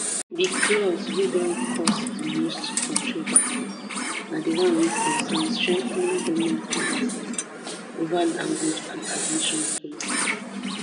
di clause wey don cause di most controversy na di one wey concern strengthening goment oversight ova language and admission policies